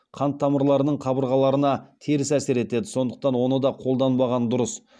қан тамырларының қабырғаларына теріс әсер етеді сондықтан оны да қолданбаған дұрыс